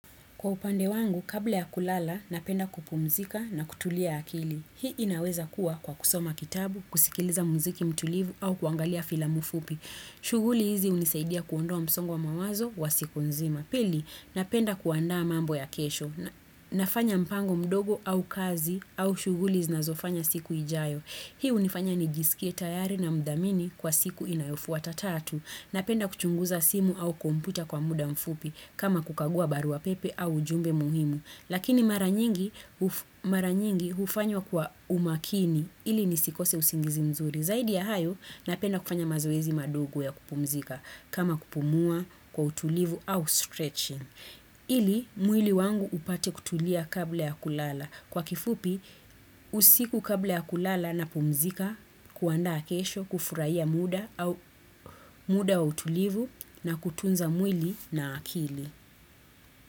Kwa upande wangu, kabla ya kulala, napenda kupumzika na kutulia akili. Hii inaweza kuwa kwa kusoma kitabu, kusikiliza mziki mtulivu au kuangalia filamu fupi. Shuguli hizi unisaidia kuondoa msongwa mawazo wa siku nzima. Pili, napenda kuandaa mambo ya kesho. Nafanya mpango mdogo au kazi au shuguli zinazofanya siku ijayo. Hii unifanya nijisikie tayari na mdamini kwa siku inayofuwa tatatu. Napenda kuchunguza simu au kumputa kwa muda mfupi kama kukagua barua pepe au jumbe muhimu. Lakini mara nyingi ufanyo kwa umakini ili nisikose usingizi mzuri. Zaidi ya hayo napenda kufanya mazoezi madugu ya kupumzika kama kupumua kwa utulivu au stretching. Ili mwili wangu upate kutulia kabla ya kulala. Kwa kifupi, usiku kabla ya kulala na pumzika, kuanda akesho, kufuraiya muda wa utulivu na kutunza mwili na akili.